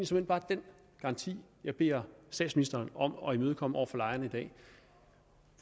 såmænd bare den garanti jeg beder statsministeren om at imødekomme over for lejerne i dag